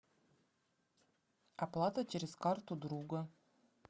оплата через карту друга